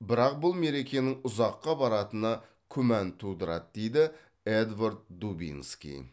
бірақ бұл мерекенің ұзаққа баратыны күмән тудырады дейді эдвард дубинский